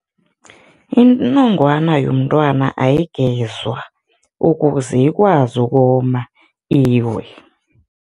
Inongwana yomntwana ayigezwa, ukuze ikwazi ukoma, iwe.